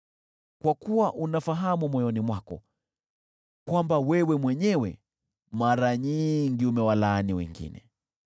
kwa kuwa unafahamu moyoni mwako kwamba wewe mwenyewe mara nyingi umewalaani wengine.